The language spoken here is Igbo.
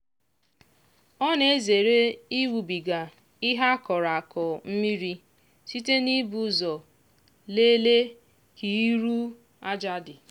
ọ na-ezere ịwụbiga ihe a kọrọ akọ mmiri site n'ibu ụzọ lelee ka iru aja dị.